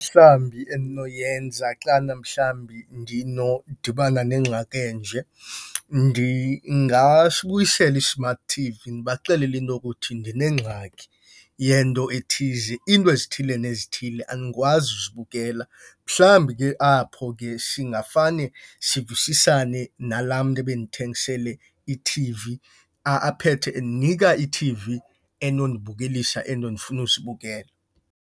Mhlambi endinoyenza xana mhlambi ndinodibana nengxaki enje, ndingasibuyisela i-smart T_V ndibaxelele into okuthi ndinengxaki yento ethize, iinto ezithile nezithile andikwazi uzibukela. Mhlambi ke apho ke singafane sivisisane nalaa mntu ebendithengisele iT_V, aphethe endinika iT_V enondibukelisa ezinto ndifuna uzibukela.